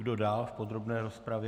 Kdo dále v podrobné rozpravě?